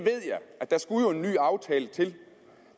at der skulle en ny aftale til